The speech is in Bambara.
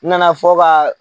N nana fɔ ka